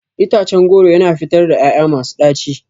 Itacen goro yana fitar ƴaƴa masu ɗaci.